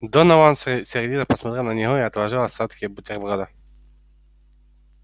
донован сердито посмотрел на него и отложил остатки бутерброда